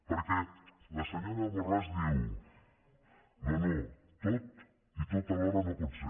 perquè la senyora borràs diu no no tot i tot alhora no pot ser